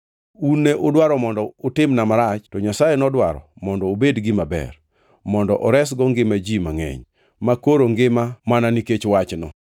Un ne udwaro mondo utimna marach, to Nyasaye nodwaro mondo obed gima ber; mondo oresgo ngima ji mangʼeny, makoro ngima mana nikech wachno.